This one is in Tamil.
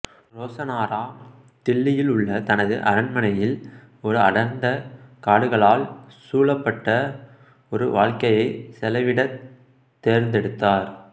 ரோசனாரா தில்லியில் உள்ள தனது அரண்மனையில் ஒரு அடர்ந்த காடுகளால் சூழப்பட்ட ஒரு வாழ்க்கையை செலவிடத் தேர்ந்தெடுத்தார்